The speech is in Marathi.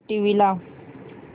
टीव्ही लाव